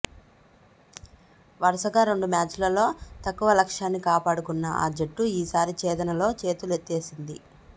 వరుసగా రెండు మ్యాచ్లలో తక్కువ లక్ష్యాన్ని కాపాడుకున్న ఆ జట్టు ఈసారి ఛేదనలో చేతులెత్తేసింది